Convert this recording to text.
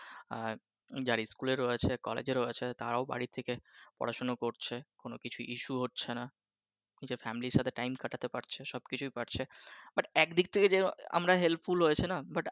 আর যার স্কুলে রয়েছে কলেজে রয়েছে তারাও বাড়ী থেকে পড়াশুনা করছে কোন কিছুই issue হচ্ছে নাহ নিজের family সাথে time কাটাতে পারছে সব কিছুই পারছে but একদিক থেকে যে আমরা helpful but